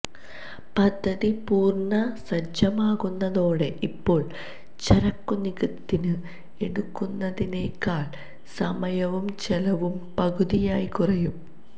പദ്ധതി പൂര്ണസജ്ജമാകുന്നതോടെ ഇപ്പോള് ചരക്കുനീക്കത്തിന് എടുക്കുന്നതിനെക്കാള് സമയവും ചെലവും പകുതിയായി കുറയും